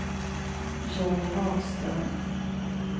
Jonny Hagström